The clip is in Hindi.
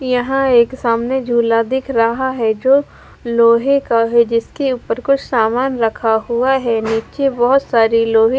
यहां एक सामने झूला दिख रहा है जो लोहे का है जिसके ऊपर कुछ सामान रखा हुआ है नीचे बहोत सारी लोहे--